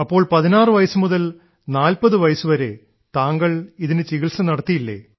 അപ്പോൾ 16 വയസ്സു മുതൽ 40 വയസ്സു വരെ താങ്കൾ ഇതിനു ചികിത്സ നടത്തിയില്ലേ